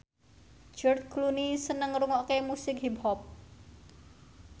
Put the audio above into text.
George Clooney seneng ngrungokne musik hip hop